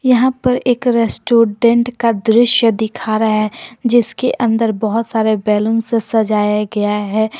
यहां पर एक रेस्टोरेंट का दृश्य दिख रहा है जिसके अंदर बहुत सारे बैलून से सजाया गया है।